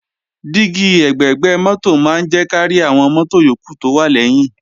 Dígí ẹ̀gbẹ̀gbẹ́ mọ́tò máa ń jẹ́ kárí àwọn mọ́tò yókù tó wà lẹ́yìn